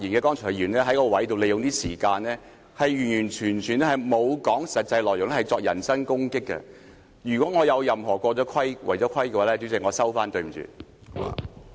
剛才發言的議員完全沒有說實際內容，只是作人身攻擊，如果我有任何違規的說話，主席，我收回，對不起。